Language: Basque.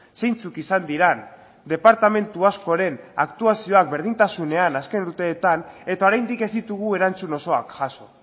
zeintzuk izan diren departamentu askoren aktuazioak berdintasunean azken urteetan eta oraindik ez ditugu erantzun osoak jaso